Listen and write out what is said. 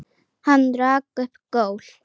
Hann rak upp gól.